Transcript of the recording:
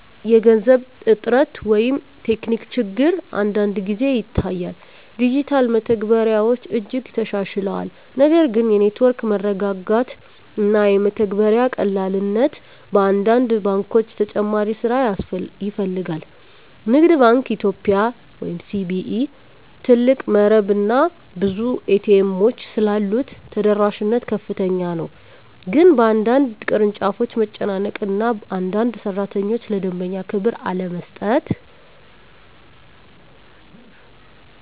የገንዘብ እጥረት ወይም ቴክኒክ ችግር አንዳንድ ጊዜ ይታያል። ዲጂታል መተግበሪያዎች እጅግ ተሻሽለዋል፣ ነገር ግን የኔትወርክ መረጋጋት እና የመተግበሪያ ቀላልነት በአንዳንድ ባንኮች ተጨማሪ ስራ ይፈልጋል። ንግድ ባንክ ኢትዮጵያ (CBE) ትልቅ መረብ እና ብዙ ኤ.ቲ. ኤሞች ስላሉት ተደራሽነት ከፍተኛ ነው፤ ግን በአንዳንድ ቅርንጫፎች መጨናነቅ እና አንዳንድ ሠራተኞች ለደንበኛ ክብር አለመስጠት